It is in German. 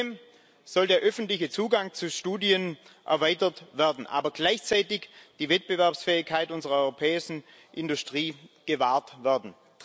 Zudem soll der öffentliche Zugang zu Studien erweitert werden, aber gleichzeitig die Wettbewerbsfähigkeit unserer europäischen Industrie gewahrt werden.